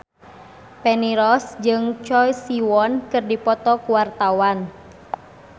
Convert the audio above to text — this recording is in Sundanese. Feni Rose jeung Choi Siwon keur dipoto ku wartawan